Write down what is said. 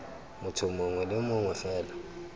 motho mongwe le mongwe fela